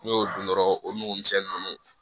N'i y'o dun dɔrɔn o nugu misɛnnin ninnu